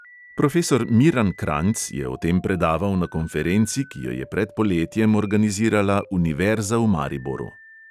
Profesor miran kranjc je o tem predaval na konferenci, ki jo je pred poletjem organizirala univerza v mariboru.